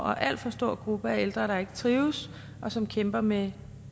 alt for stor gruppe af ældre der ikke trives og som kæmper med